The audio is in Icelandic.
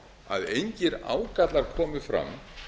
að engir ágallar komu fram